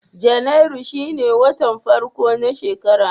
Janairu shine watan farko na shekara.